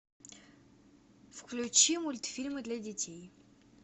включи мультфильмы для детей